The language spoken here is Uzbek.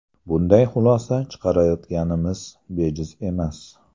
Bunday xulosa chiqarayotganimiz bejiz emas.